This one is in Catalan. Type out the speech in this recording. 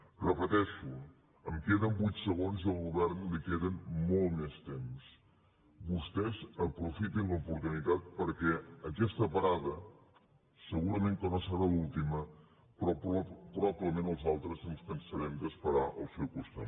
ho repeteixo em queden vuit segons i al govern li queda molt més temps vostès aprofitin l’oportunitat perquè aquesta parada segurament que no serà l’última però probablement els altres ens cansarem d’esperar al seu costat